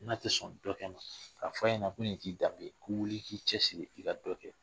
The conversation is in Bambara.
N'a tɛ sɔn dɔ kɛ, a fɔ a ɲɛna ko nin t'i danbe ye, ko wuli k'i cɛ siri i ka dɔ kɛ.